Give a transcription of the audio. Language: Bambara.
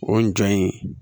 O jɔn in